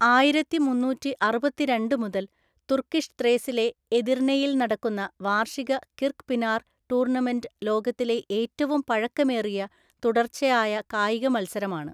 ആയിരത്തി മുന്നൂറ്റിഅറുപത്തിരണ്ടു മുതൽ തുർക്കിഷ് ത്രേസിലെ എദിർനെയിൽ നടക്കുന്ന വാർഷിക കിർക്ക്പിനാർ ടൂർണമെന്റ് ലോകത്തിലെ ഏറ്റവും പഴക്കമേറിയ തുടർച്ചയായ കായിക മത്സരമാണ്.